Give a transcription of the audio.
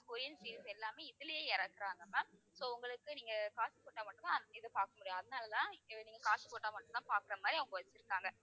Korean series எல்லாமே இதுலயே இறக்குறாங்க ma'am so உங்களுக்கு நீங்கக் காசு கொடுத்தா மட்டும்தான் அந்த இத பார்க்க முடியும். அதனாலதான் அஹ் நீங்கக் காசு போட்டா மட்டும்தான் பார்க்கிற மாதிரி, அவங்க வச்சிருக்காங்க.